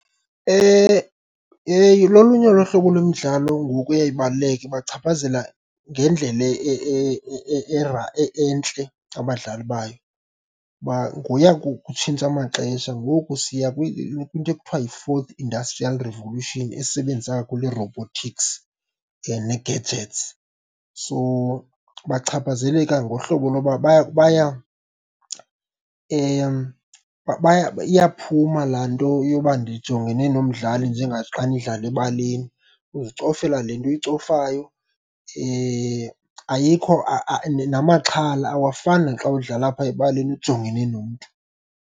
Lolunye lohlobo lwemidlalo ngoku eye, ibaluleke ibachaphazela ngendlela entle abadlali bayo. Kuba ngoya kutshintsha amaxesha ngoku siya kwinto ekuthiwa yi-fourth industrial revolution esebenzisa kakhulu ii-robotics nee-gadgets. So, bachaphazeleka ngohlobo loba iyaphuma laa nto yoba ndijongene nomdlali njengaxa nidlala ebaleni, uzicofela le nto uyicofayo, ayikho namaxhala awafani naxa udlala phaya ebaleni ujongene nomntu.